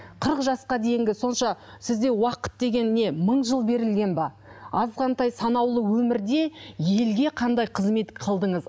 қырық жасқа дейінгі сонша сізде уақыт деген не мың жыл берілген бе азғантай санаулы өмірде елге қандай қызмет қылдыңыз